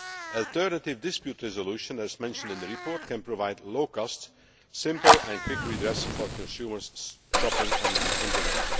Alternative dispute resolution, as mentioned in the report, can provide low cost, simple and quick redress for consumers shopping on the Internet.